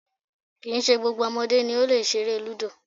Kì í ṣe gbogbo ọmọdé ni ó lè ṣeré lúdò